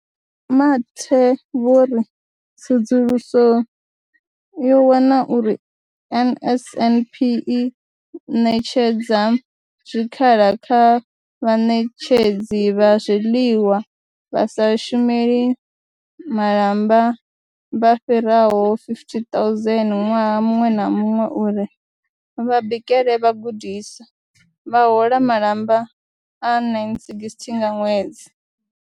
Vho Mathe vho ri tsedzuluso yo wana uri NSNP i ṋetshedza zwikhala kha vhaṋetshedzi vha zwiḽiwa vha sa shumeli malamba vha fhiraho 50 000 ṅwaha muṅwe na muṅwe uri vha bikele vhagudiswa, vha hola malamba a 960 nga ṅwedzi.